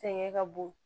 Fɛngɛ ka bon